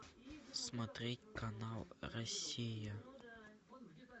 смотреть канал россия